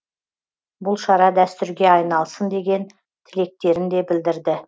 бұл шара дәстүрге айналсын деген тілектерін де білдірді